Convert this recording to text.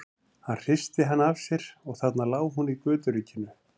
Hann hristi hana af sér og þarna lá hún í göturykinu.